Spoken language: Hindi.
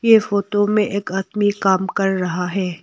ये फोटो में एक आदमी काम कर रहा है।